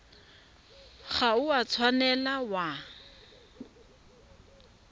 ga o a tshwanela wa